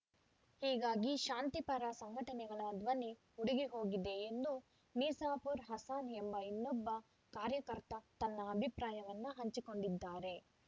ಹೀಗಾಗಿ ಶಾಂತಿ ಪರ ಸಂಘಟನೆಗಳ ಧ್ವನಿ ಉಡುಗಿಹೋಗಿದೆ ಎಂದು ಮಿಸಾಪುರ್ ಹಸಾನ್ ಎಂಬ ಇನ್ನೊಬ್ಬ ಕಾರ್ಯಕರ್ತ ತನ್ನ ಅಭಿಪ್ರಾಯವನ್ನು ಹಂಚಿಕೊಂಡಿದ್ದಾರೆ